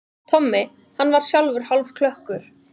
Tommi, hann var sjálfur hálfklökkur.